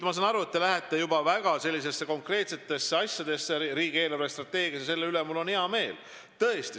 Ma saan aru, et te lähete juba väga konkreetsete asjade juurde riigi eelarvestrateegias, mille üle on mul hea meel.